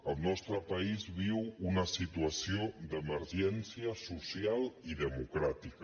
el nostre país viu una situació d’emergència social i democràtica